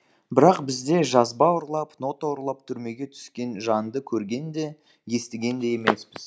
бірақ бізде жазба ұрлап нота ұрлап түрмеге түскен жанды көрген де естіген де емеспіз